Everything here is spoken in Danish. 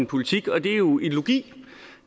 politik og det er jo ideologi